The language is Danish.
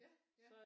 Ja ja